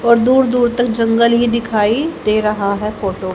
और दूर दूर तक जंगल ही दिखाई दे रहा है फोटो --